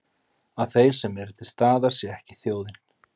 Að þeir sem eru til staðar sé ekki þjóðin?